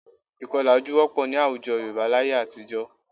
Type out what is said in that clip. Ìkọlà ojú wọ́pọ̀ ní àwùjọ Yorùbá láye àtijọ́